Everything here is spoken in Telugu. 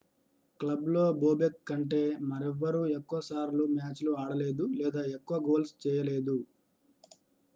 క్లబ్లో bobek కంటే మరెవ్వరూ ఎక్కువ సార్లు మ్యాచ్లు ఆడలేదు లేదా ఎక్కువ గోల్స్ చేయలేదు